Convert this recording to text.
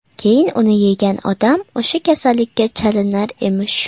Keyin uni yegan odam o‘sha kasallikka chalinar emish.